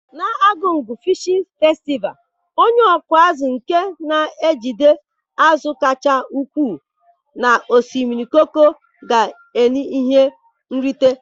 Na Argungu Fịshin Festịval, onye ọkụ azụ nke na-ejide azụ kacha ukwuu na osimiri Koko ga en ihe nrite.